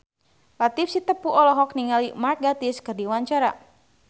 Latief Sitepu olohok ningali Mark Gatiss keur diwawancara